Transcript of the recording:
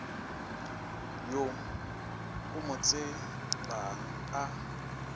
yo o mo tsebang a